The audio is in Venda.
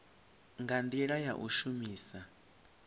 nga ndila ya u shumisa